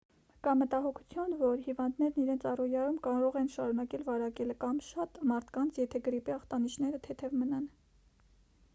կա մտահոգություն որ հիվանդներն իրենց առօրյայում կարող են շարունակել վարակել ավելի շատ մարդկանց եթե գրիպի ախտանշանները թեթև մնան